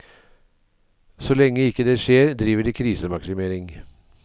Så lenge ikke det skjer, driver de krisemaksimering.